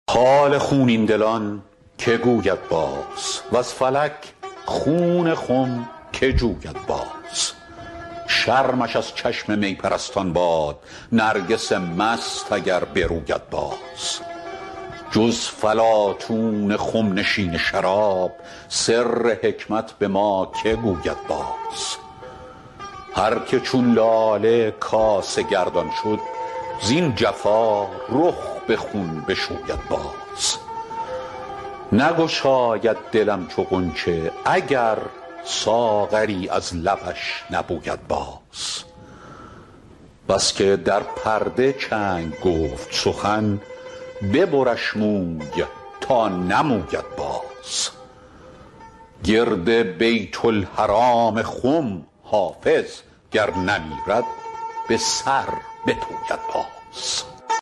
حال خونین دلان که گوید باز وز فلک خون خم که جوید باز شرمش از چشم می پرستان باد نرگس مست اگر بروید باز جز فلاطون خم نشین شراب سر حکمت به ما که گوید باز هر که چون لاله کاسه گردان شد زین جفا رخ به خون بشوید باز نگشاید دلم چو غنچه اگر ساغری از لبش نبوید باز بس که در پرده چنگ گفت سخن ببرش موی تا نموید باز گرد بیت الحرام خم حافظ گر نمیرد به سر بپوید باز